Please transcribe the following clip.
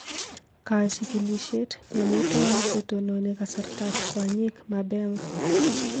Kachigilisyet: Mi amitwogik che tononi kasartab kwonyik mabema